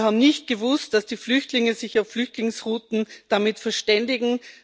Wir haben nicht gewusst, dass die Flüchtlinge sich auf Flüchtlingsrouten damit verständigen.